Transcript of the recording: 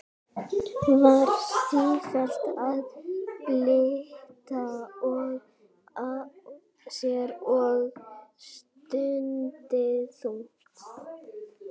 Var sífellt að bylta sér og stundi þungt.